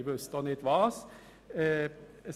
Ich wüsste auch nicht welchen.